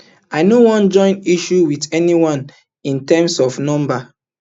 i no wan join issues wit anyone in terms of numbers